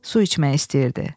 Su içmək istəyirdi.